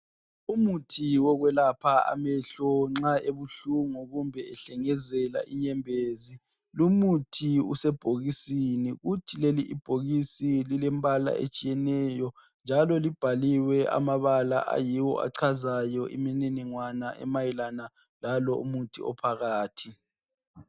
Umuthi owokwelapha amehlo nxa ebuhlungu kumbe ehlengezela inyembezi , umuthi lo usebhokisini kuthi leli bhokisi lilombala otshiyeneyo njalo libhaliwe amabala ayiyo achazayo imniningwano emayelana lalo umuthi ophakathi.